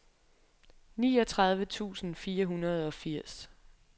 niogtredive tusind fire hundrede og firs